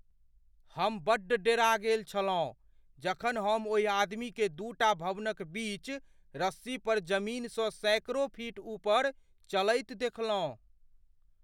हम बड्ड डरा गेल छलहुँ जखन हम ओहि आदमीकेँ दूटा भवनक बीच रस्सी पर जमीनसँ सैकड़ों फीट ऊपर चलैत देखलहुँ।